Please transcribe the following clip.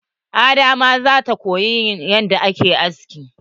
Ada ma zata koyi yanda ake aski.